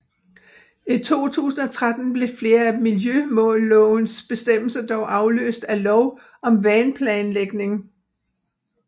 I 2013 blev flere af miljømålslovens bestemmelser dog afløst af Lov om vandplanlægning